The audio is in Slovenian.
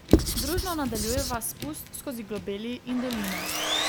Družno nadaljujeva spust skozi globeli in doline.